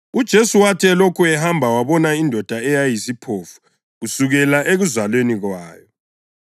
UJesu wathi elokhu ehamba wabona indoda eyayiyisiphofu kusukela ekuzalweni kwayo.